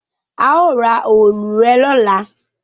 A o ra òòlù rẹ lọla